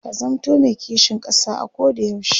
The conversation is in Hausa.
ka zamanto me kishin ƙasa a Koda yaushe